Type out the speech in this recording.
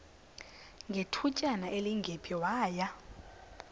ngethutyana elingephi waya